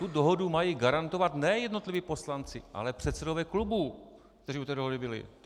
Tu dohodu mají garantovat ne jednotliví poslanci, ale předsedové klubů, kteří u té dohody byli.